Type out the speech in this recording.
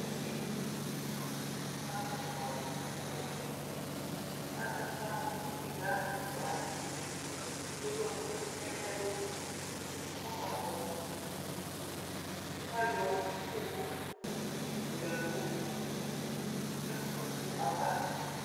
Ɔsɩtsʊ adʊ awʊwʊɛ adʊ ʊfa nʊ ɩxla ɛfʊa wanɩ ewʊ ɛkʊ nʊ ɛlʊ kʊ ɔkakpɔ ɩtɩ kʊ ayɔ ɩko yɔya nʊ ɛkʊyɛ ɛkʊava